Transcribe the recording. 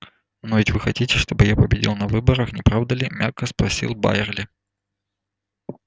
но ведь вы хотите чтобы я победил на выборах не правда ли мягко спросил байерли